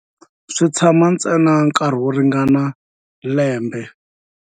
Swi tshama ntsena nkarhi wo ringana lembe.